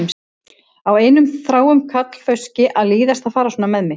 Á einum þráum karlfauski að líðast að fara svona með mig?